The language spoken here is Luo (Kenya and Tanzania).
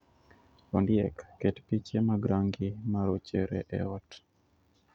Ondiek, ket piche mag rangi ma rochere e ot